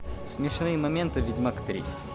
смешные моменты ведьмак три